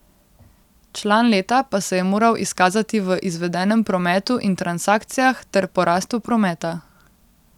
Član leta pa se je moral izkazati v izvedenem prometu in transakcijah ter porastu prometa.